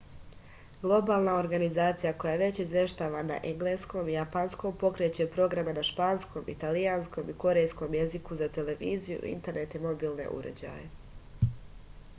globalna organizacija koja već izveštava na engleskom i japanskom pokreće programe na španskom italijanskom i korejskom jeziku za televiziju internet i mobilne uređaje